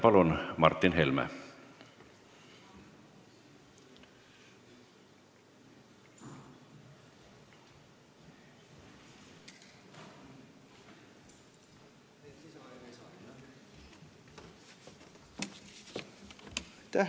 Palun, Martin Helme!